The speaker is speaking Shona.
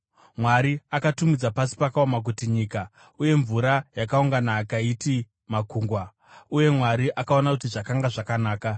Mwari akatumidza pasi pakaoma kuti, “nyika,” uye mvura yakaungana akaiti “makungwa.” Uye Mwari akaona kuti zvakanga zvakanaka.